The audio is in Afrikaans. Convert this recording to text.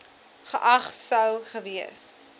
geag sou gewees